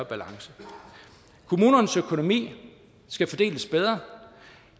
balance kommunernes økonomi skal fordeles bedre